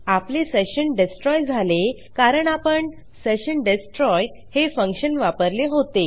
आपले सेशन destroyझाले कारण आपण सेशन डेस्ट्रॉय हे फंक्शन वापरले होते